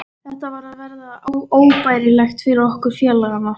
Þetta var að verða óbærilegt fyrir okkur félagana.